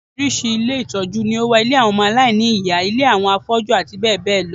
Oríṣiríṣi ilé ìtọ́jú ni ó wà: ilé àwọn ọmọ aláìní ìyá, ilé àwọn afọ́jú, àti bẹ́ẹ̀ bẹ́ẹ̀ lọ